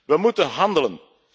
We moeten handelen.